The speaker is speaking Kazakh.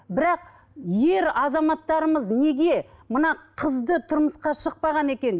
бірақ ер азаматтарымыз неге мына қызды тұрмысқа шықпаған екен